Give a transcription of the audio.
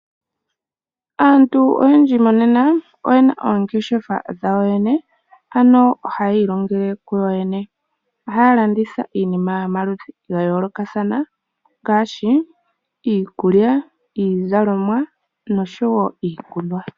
Aantu oyendji monena oyena oongeshefa dhawo yene ano ohaya ilongele ku yoyene. Ohaya landitha iinima yomaludhi ga yoolokathana ngaashi iikulya, iizalomwa nosho wo iikunwa.